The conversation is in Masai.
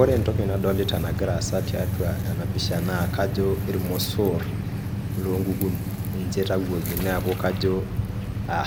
Ore entoki nadolita nagira aasa tiatua enapisha naa irmosor loonkukuni ninche itayioki niaku kajo